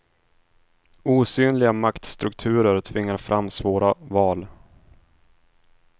Osynliga maktstrukturer tvingar fram svåra val.